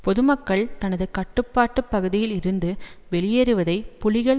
பொதுமக்கள் தனது கட்டுப்பாட்டு பகுதியில் இருந்து வெளியேறுவதை புலிகள்